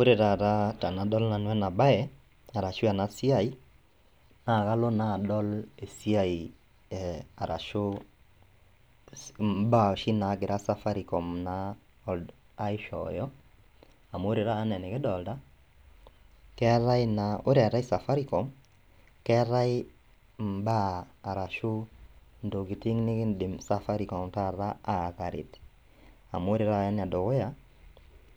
Ore tataa tenadol nanu enabaye arashu enasiai naakalo naadol esiai eh arashu imbaa oshi naagira safakicom naa aishooyo amu ore tata anaa enikidolta keetai naa, ore eetai safarikom keetai imbaa arashu intokitin nikindim safarikom tata aataret, amu ore tata enedukuya